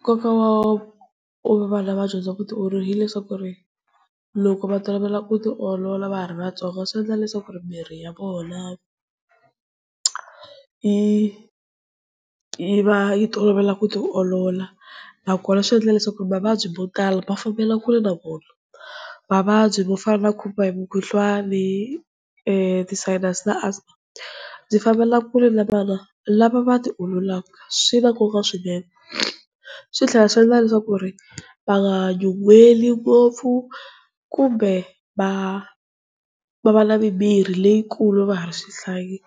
Nkoka wa ku va vana va dyondza vutiolorivati hileswaku ku ri loko va tolovela ku tiolola va ha ri vatsongo, swi endla leswaku ri miri ya vona yi va yi tolovela ku ti olola, na kona swi endla leswaku mavabyi mo tala ma fambela kule na vona. Mavabyi mo fana na ku khomiwa hi Mukhuhlwani , ti-Sinus-i na Asthma byi fambelaka kule na vana lava ti ololaka swi na nkoka swinene. Swi tlhela swi endla leswaku ku ri va nga nyuhweli ngopfu kumbe va va na mimiri leyikulu va ha ri swihlangi.